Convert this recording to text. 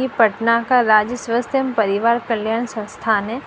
यह पटना का राज्य स्वास्थ्य एवं परिवार कल्याण संस्थान है